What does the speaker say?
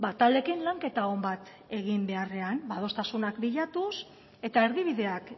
taldeekin lanketa on bat egin beharrean adostasunak bilatuz eta erdibideak